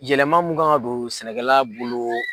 Yɛlɛma mun kan ka don sɛnɛla bolo